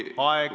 Aeg!